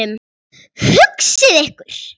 Hugsið ykkur!